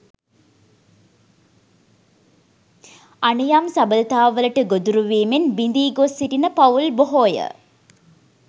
අනියම් සබඳතා වලට ගොදුරු වීමෙන් බිඳී ගොස් සිටින පවුල් බොහෝය.